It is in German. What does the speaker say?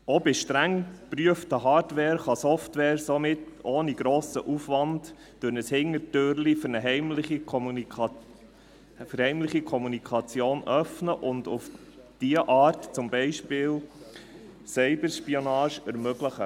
Auch bei streng geprüfter Hardware kann Software somit ohne grossen Aufwand ein Hintertürchen für eine heimliche Kommunikation öffnen und auf diese Art zum Beispiel Cyber-Spionage ermöglichen.